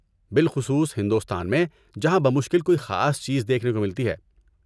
بالخصوص ہندوستان میں جہاں بمشکل کوئی خاص چیز دیکھنے کو ملتی ہے!